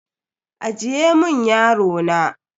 Ajiye mun yaro na.